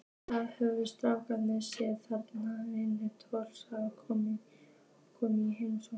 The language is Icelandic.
Það höfðu strákarnir séð þegar vinir Tolla komu í heimsókn.